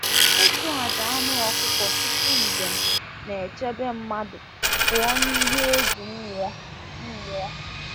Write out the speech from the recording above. Ịchụ aja anụ ọkụkọ tupu njem na-echebe mmadụ pụọ n’ihe egwu mmụọ. mmụọ.